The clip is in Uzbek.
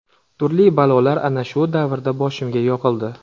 Turli balolar ana shu davrda boshimga yog‘ildi.